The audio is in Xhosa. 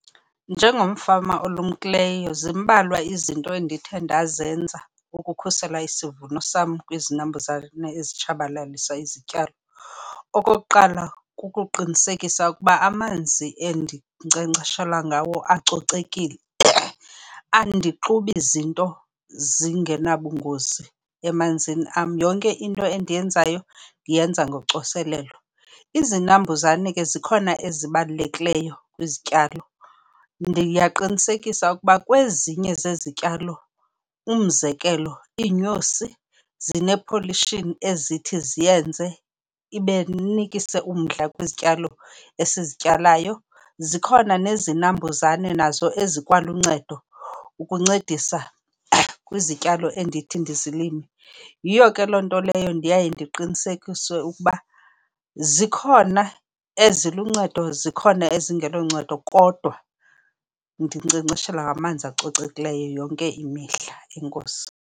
Njengomfama olumkileyo zimbalwa izinto endithe ndazenza ukukhusela isivuno sam kwizinambuzane ezitshabalalisa izityalo. Okokuqala kukuqinisekisa ukuba amanzi endinkcenkceshela ngawo acocekile. Andixubi zinto zingenabungozi emanzini am, yonke into endiyenzayo ndiyenza ngocoselelo. Izinambuzane ke zikhona ezibalulekileyo kwizityalo. Ndiyaqinisekisa ukuba kwezinye zezityalo, umzekelo iinyosi zine-pollution ezithi ziyenze inikise umdla kwizityalo esizityalo. Zikhona nezinambuzane nazo ezikwaluncedo ukuncedisa kwizityalo endithi ndizilime. Yiyo ke loo nto leyo ndiye ndiqinisekise ukuba zikhona eziluncedo zikhona ezingeloncedo kodwa ndinkcenkceshela ngamanzi acocekileyo yonke imihla. Enkosi.